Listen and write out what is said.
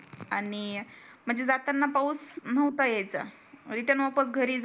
आणि म्हणजे जाताना पाऊस नव्हता येयाचं इथे